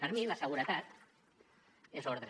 per a mi la seguretat és ordre